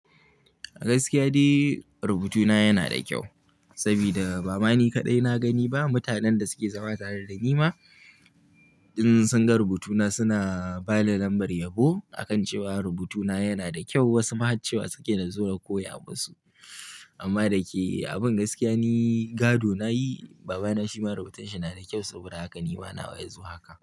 Gaskiya dai rubutuna yana da kyau saboda ba mani kaɗai na gani ba. Mutanen da suke zama tare da ni ma in sun ga rubutuna suna bani lambar yabo a kan cewa rubutuna yana da kyau. Wasu ma har cewa suke nazo na koya musu. Amma da ke abun gaskiya ni gado nayi. Baba na shi ma rubutun shi yana da kyau saboda haka ni ma nawa ya zuwa haka.